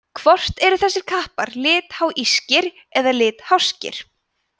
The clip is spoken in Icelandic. hvort eru þessir kappar litháískir eða litháskir